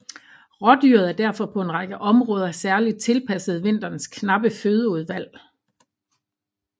Rådyret er derfor på en række områder særligt tilpasset vinterens knappe fødeudvalg